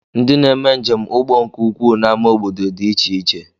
Ndị na-eme njem ụgbọ nke ukwuu na-ama obodo dị iche iche